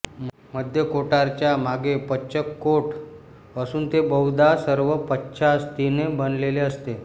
मध्यकोटराच्या मागे पश्चकोटर असून ते बहुधा सर्व पश्चास्थीने बनलेले असते